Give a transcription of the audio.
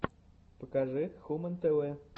покажи хумэн тэ вэ